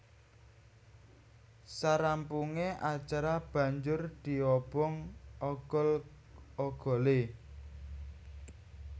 Sarampunge acara banjur diobong ogol ogole